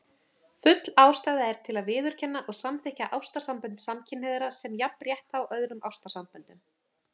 Full ástæða er til að viðurkenna og samþykkja ástarsambönd samkynhneigðra sem jafnrétthá öðrum ástarsamböndum.